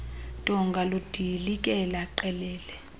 donga ludilikele qelele